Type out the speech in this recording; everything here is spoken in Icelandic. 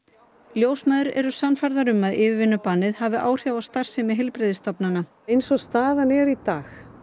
ljósmæður eru sannfærðar um að yfirvinnubannið hafi áhrif á starfsemi heilbrigðisstofnana eins og staðan er í dag